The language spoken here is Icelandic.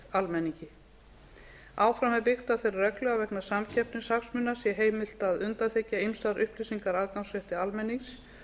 almenningi áfram er byggt á þeirri reglu að vegna samkeppnishagsmuna sé heimilt að undanþiggja upplýsingar aðgangsrétti almennings